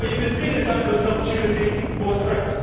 You can see this either as an opportunity or a threat.